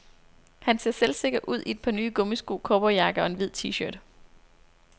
Han ser selvsikker ud i et par nye gummisko, cowboyjakke og en hvid tshirt.